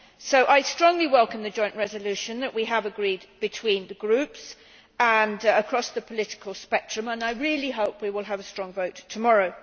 So, I strongly welcome the joint resolution that we have agreed between the groups and across the political spectrum, and I really hope we will have a strong vote tomorrow.